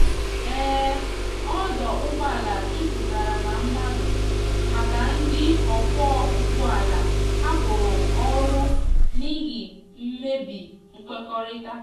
um ọdo ụgbọ ala juputara na madu maka ndi ọkwọ ụgbọ ala hapụrụ ọrụ n'ihi mmebi nkwekorita